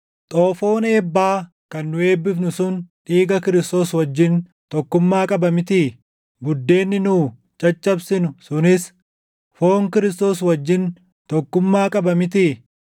Xoofoon eebbaa kan nu eebbifnu sun dhiiga Kiristoos wajjin tokkummaa qaba mitii? Buddeenni nu caccabsinu sunis foon Kiristoos wajjin tokkummaa qaba mitii?